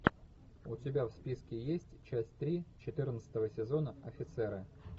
у тебя в списке есть часть три четырнадцатого сезона офицеры